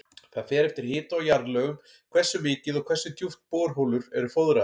Það fer eftir hita og jarðlögum hversu mikið og hversu djúpt borholur eru fóðraðar.